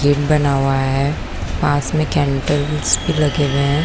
Gym बना हुआ है पास में कैंडल्स भी लगे हुए है।